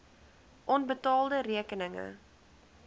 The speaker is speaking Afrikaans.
onbetaalde rekeninge